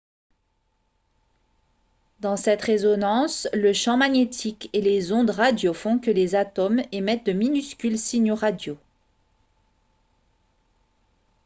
dans cette résonance le champ magnétique et les ondes radio font que les atomes émettent de minuscules signaux radio